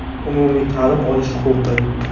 Umumiy ta’lim olish huquqi.